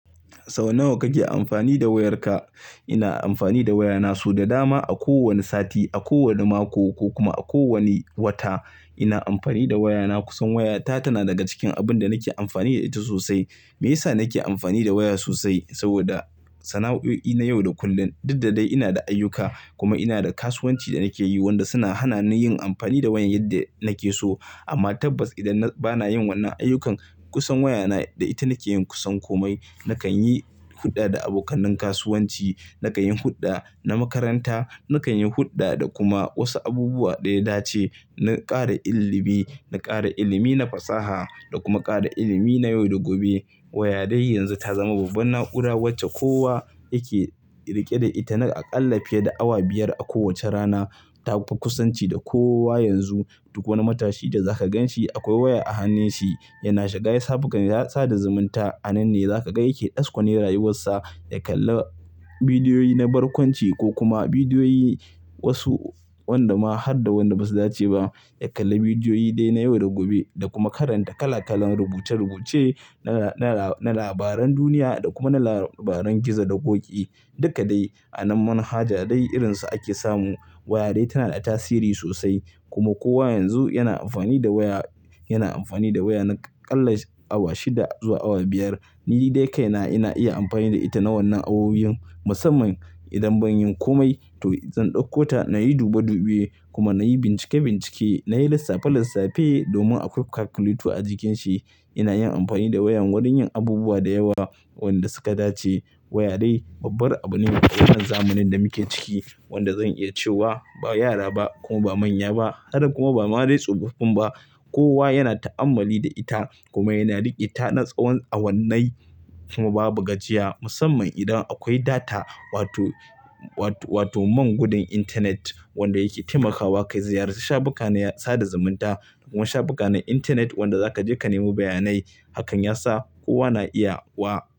Sau nawa kake amfani da wayarka? Ina amfani da wayana sau da dama a kowani sati, a kowane mako ko kuma a kowani wata. Ina amfani da wayana kusan wayata tana daga cikin abin da nake amfani da ita sosai. Me yasa nake amfani da waya sosai? Saboda sana'o'i na yau da kullun. Dud da dai ina da ayyuka kuma ina da kasuwanci da nake yi wanda suna hana ni yin amfani da wayan yadda nake so. Amma tabbas idan bana yin wannan ayyukan kusan wayana da ita nake yin kusan komai. Nakan yi hulɗa da abokan kasuwanci, nakan yi hulɗa na makaranta, nakan yi hulɗa da kuma wasu abubuwa da ya dace, na ƙara ilimi, na ƙara ilimi na fasaha da kuma ƙara ilimi na yau da gobe. Waya dai yanzu ta zama babbar na'ura wacce kowa yake riƙe da ita na aƙalla fiye da awa biyar a kowace rana. Ta fi kusanci da kowa yanzu. Duk wani matashi da za ka ganshi akwai waya a hannunshi. Yana shiga shafukan ya sada zumunta. A nan ne za ka ga yake ɗaskone rayuwarsa ya kalla bidiyoyi na barkwanci ko kuma bidiyoyi wasu wanda ma har da wanda ba su dace ba, ya kalla bidiyoyi dai na yau da gobe da kuma karanta kala kalan rubuce-rubuce na labaran duniya da kuma na labaran gizo da ƙoƙi. Duka dai anan manhaja dai irin su ake samu. Waya dai tana da tasiri sosai kuma kowa yanzu yana amfani da waya, yana amfani da waya na aƙalla awa shida zuwa awa biyar. Ni dai kai na ina iya amfani da ita na wannan awowiyan musamman idan ban yi komai to zan ɗauko ta na yi dube-dubu kuma na yi bincike-bincike, na yi lissafi-lissafi domin akwai calculator a cikinshi. Ina yin amfani da wayan wurin yin abubuwa da yawa wanda suka dace. Waya dai babbar abu ne a wannan zamanin da muke ciki wanda zan iya cewa ba yara ba kuma ba manya ba har da kuma ba ma dai tsofaffin ba kowa yana ta'ammali da ita kuma yana riƙe da ita na tsawon awannai kuma babu gajiya musamman idan akwai data wato, wato man gudun intanet wanda yake taimakawa ka ziyarci shafukan sada zumunta kuma shafukan intanet wanda za ka je ka nemo bayanai. Hakan ya sa kowa na iya wa.